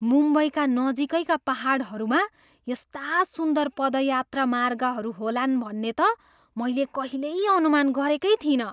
मुम्बईका नजिकैका पाहाडहरूमा यस्ता सुन्दर पदयात्रा मार्गहरू होलान् भन्ने त मैले कहिल्यै अनुमान गरेकै थिइनँ।